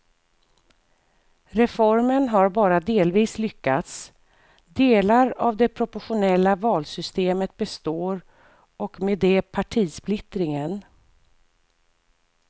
Reformen har bara delvis lyckats, delar av det proportionella valsystemet består och med det partisplittringen.